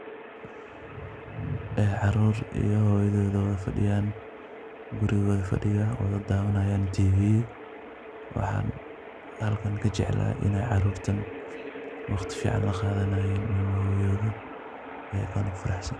Ee caruur iyo hoyadod oo wadafadhiyan gurigoda fadhiyan wadadawanayan tv waxan halkan kajeclahay iney caruurtan waqti fican laqadanayan hoyadod ee aad ufaraxsan.